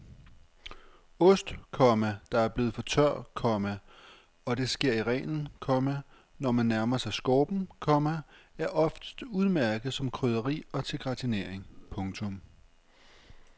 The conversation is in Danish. Ost, komma der er blevet for tør, komma og det sker i reglen, komma når man nærmer sig skorpen, komma er oftest udmærket som krydderi og til gratinering. punktum